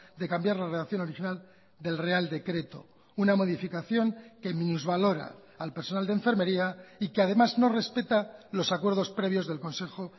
de cambiar la redacción original del real decreto una modificación que minusvalora al personal de enfermería y que además no respeta los acuerdos previos del consejo